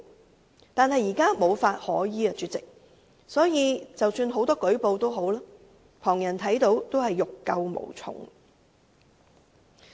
可是，主席，現時無法可依，即使有很多人舉報，旁人也欲救無從。